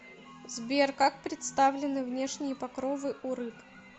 сбер как представлены внешние покровы у рыб